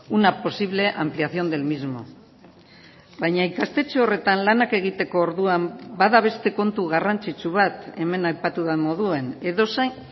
una posible ampliación del mismo baina ikastetxe horretan lanak egiteko orduan bada beste kontu garrantzitsu bat hemen aipatu den moduan edozein